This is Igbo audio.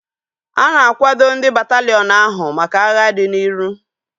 A na-akwado ndị bataliiọn ahu maka agha dị n'ihu